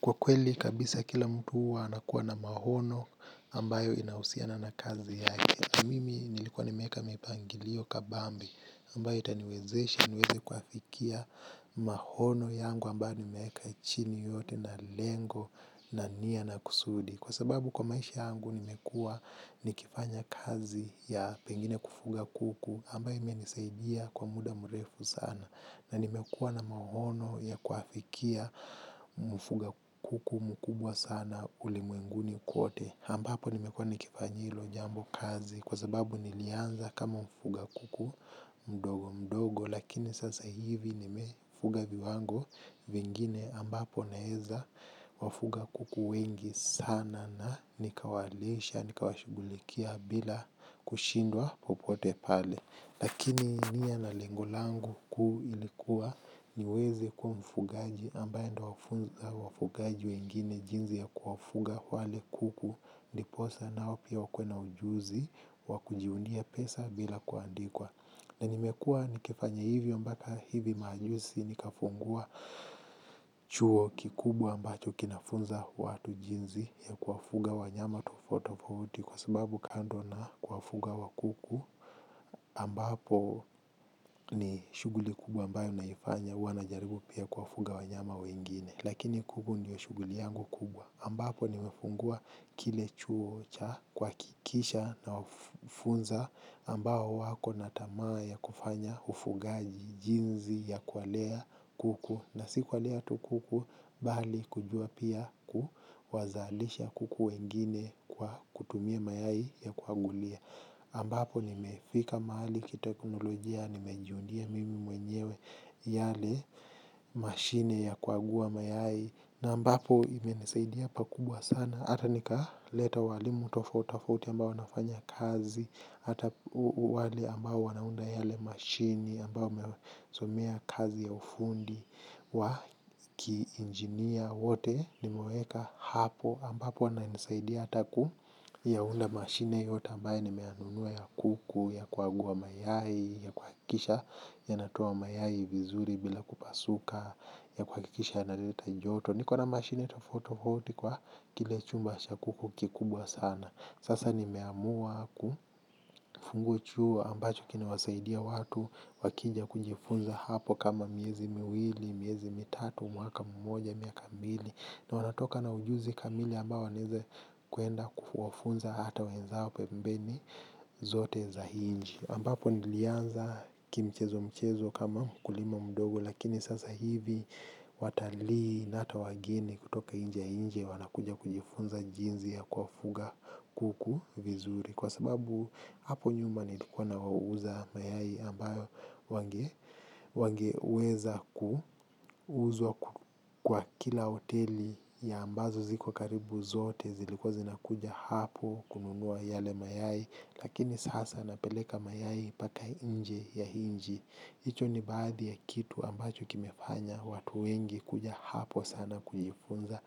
Kwa kweli kabisa kila mtu huwa anakuwa na maono ambayo inahusiana na kazi yake mimi nilikuwa nimeeka mipangilio kabambe ambayo itaniwezeshe niweze kuyafikia mahono yangu ambayo nimeeka chini yote na lengo na nia na kusudi. Kwa sababu kwa maisha yangu nimekua nikifanya kazi ya pengine kufuga kuku ambayo ime nisaidia kwa muda mrefu sana. Na nimekua na mahono ya kuafikia mfuga kuku mkubwa sana ulimwenguni kwote. Ambapo nimekuwa nikifanyia hilo jambo kazi kwasababu nilianza kama mfuga kuku mdogo mdogo lakini sasa hivi nimefuga viwango vingine ambapo naeza kuwafuga kuku wengi sana na nikawalisha nikawashughulikia bila kushindwa popote pale. Lakini nia na lengo langu kuu ilikuwa niweze kuwa mfugaji ambaye ndo wafugaji wengine jinzi ya kuwafuga wale kuku ndiposa nao pia wakuwe na ujuzi wakujiundia pesa bila kuandikwa. Na nimekua nikifanya hivyo mbaka hivi majusi nikafungua chuo kikubwa ambacho kinafunza watu jinzi ya kuwafuga wanyama tofauti tofauti kwa sababu kando na kuwafuga wa kuku ambapo ni shuguli kubwa ambayo naifanya huwanajaribu pia kuwafuga wanyama wengine. Lakini kuku ndio shughuli yangu kubwa, ambapo nimefungua kile chuo cha kuhakikisha na wafunza ambao wako natamaa ya kufanya ufugaji jinzi ya kuwalea kuku na si kuwalea tu kuku bali kujua pia kuwazalisha kuku wengine kwa kutumia mayai ya kuagulia. Ambapo nimefika mahali kiteknolojia nimejiundia mimi mwenyewe yale mashine ya kuagua mayai na ambapo imenisaidia pakubwa sana ata nika leta walimu tofauti tofauti ambao wanafanya kazi ata wale ambao wanaunda yale mashini ambayo mesomea kazi ya ufundi wa kiinjinia wote nimeweka hapo ambapo wana nisaidia hata ku yaunda mashine yote ambaye nimeyanunua ya kuku, ya kuagua mayai, ya kuhakisha, yanatoa mayai vizuri bila kupasuka, ya kuakikisha yana leta joto. Nikona mashine tofauti tofauti kwa kile chumba acha kuku kikubwa sana. Sasa ni meamua kufungua chuo ambacho kinawasaidia watu wakija kujifunza hapo kama miezi miwili, miezi mitatu, mwaka mmoja, miaka mbili. Na wanatoka na ujuzi kamili ambao wanaeze kuenda kuwafunza hata wenzao pembeni zote za hii nchi ambapo nilianza kimchezo mchezo kama mkulima mdogo lakini sasa hivi watalii na hata wageni kutoka nje ya nchi wanakuja kujifunza jinzi ya kuwafuga kuku vizuri kwa sababu hapo nyuma nilikuwa na wauza mayai ambayo wange wange weza kuuzwa kwa kila hoteli ya ambazo ziko karibu zote zilikuwa zinakuja hapo kununua yale mayai lakini sasa napeleka mayai paka nje ya inji. Hicho ni baadhi ya kitu ambacho kimefanya watu wengi kuja hapo sana kujifunza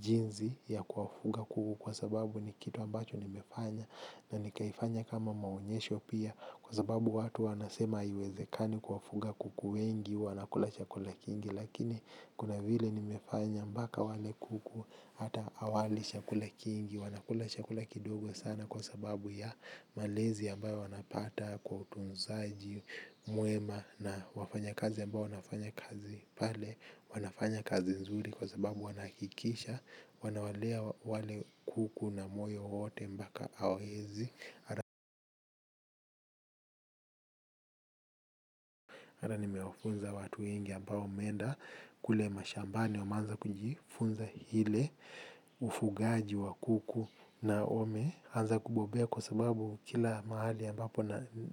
jinzi ya kuwafuga kuku kwa sababu ni kitu ambacho nimefanya na nikaifanya kama maonyesho pia kwa sababu watu wanasema haiwezekani kuwafuga kuku wengi wanakula chakula kingi. Lakini kuna vile nimefanya mbaka wale kuku hata hawali shakula kingi. Wanakula chakula kidogo sana kwa sababu ya malezi ambayo wanapata. Kwa utunzaji, muema na wafanya kazi ambao wanafanya kazi pale wanafanya kazi nzuri kwa sababu wanahakikisha wanawalea wale kuku na moyo wote mbaka hawaezi. Ata nimewafunza watu wengi ambao wameenda kule mashambani wameanza kunjifunza hile ufugaji wa kuku na wame anza kubobea kwa sababu kila mahali ambapo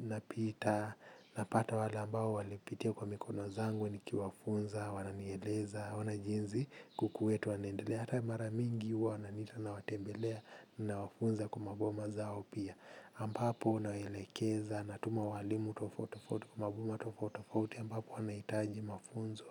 napita. Napata wale ambao walipitia kwa mikono zangu niki wafunza, wananieleza, ona jinzi kuku wetu wanendelea. Hata maramingi huwa wananiita na watembelea. Na wafunza kwamaboma zao pia ambapo nawaelekeza, natuma walimu tofauti tofauti kwa maboma tofauti tofatuti, ambapo wanahitaji mafunzo.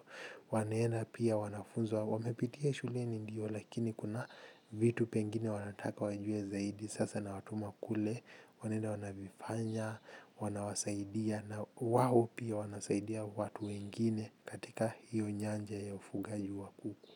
Wanaenda pia, wanafunzwa wamepitia shuleni ndio lakini kuna vitu pengine wanataka wajue zaidi sasa na watuma kule, wanenda wanavifanya, wanawasaidia na waho pia wanasaidia watu wengine katika hiyo nyanja ya ufugaji wa kuku.